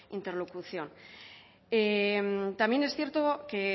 interlocución también es cierto que